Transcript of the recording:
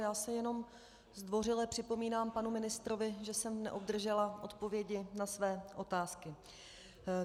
Já se jenom zdvořile připomínám panu ministrovi, že jsem neobdržela odpovědi na své otázky.